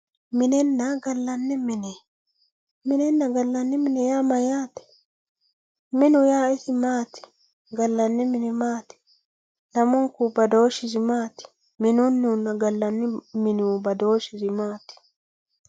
minenna gallanni mine minenna gallanni mine yaa mayaate minu yaa isi maati gallanni mini maati lammunku badooshisi maati minunnihunna gallanni minihu badooshisi maati